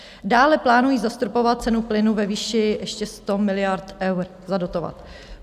Dále plánují zastropovat cenu plynu ve výši ještě 100 miliard eur, zadotovat.